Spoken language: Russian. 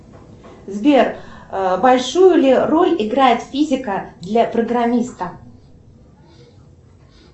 сбер большую ли роль играет физика для программиста